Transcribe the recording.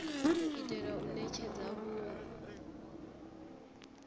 u itela u netshedza vhunwe